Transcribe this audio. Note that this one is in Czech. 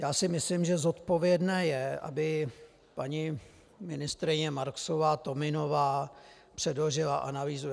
Já si myslím, že zodpovědné je, aby paní ministryně Marksová-Tominová předložila analýzu.